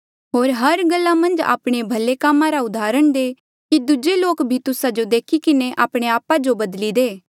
होर हर गल्ला मन्झ आपणे भले कामा रा उदाहरण दे कि दूजे लोक भी तुस्सा जो देखी किन्हें आपणे आपा जो बदली दे जेबे तू विस्वासी लोका जो परमेसरा रे बारे मन्झ सखाई करहा ता खरे मकसद साउगी सखा जेता ले स्यों तुस्सा री इज्जत करहे